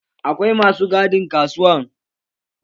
Akwai masu gadin kasuwa